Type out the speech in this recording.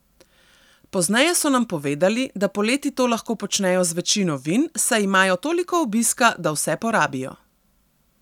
Pozneje so nam povedali, da poleti to lahko počnejo z večino vin, saj imajo toliko obiska, da vse porabijo.